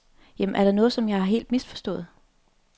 Jamen er der noget, som jeg helt har misforstået?